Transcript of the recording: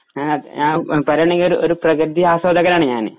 അത് ആ പ പറയുവാണെങ്കില് ഒരു പ്ര പ്രകൃതി ആസ്വാദകനാണ് ഞാന്